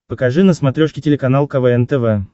покажи на смотрешке телеканал квн тв